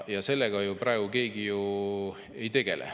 Sellega paraku praegu keegi ei tegele.